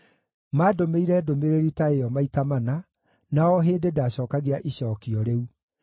Maandũmĩire ndũmĩrĩri ta ĩyo maita mana, na o hĩndĩ ndaacookagia icookio rĩu.